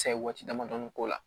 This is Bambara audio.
Sayi waati damadɔni k'o la